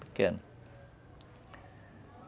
Pequena.